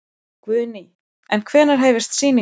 Guðný: En hvenær hefjast sýningar?